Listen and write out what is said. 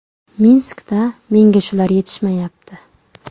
Minskda menga shular yetishmayapti.